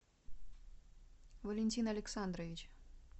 валентин александрович